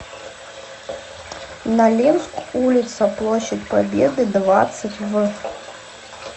нолинск улица площадь победы двадцать в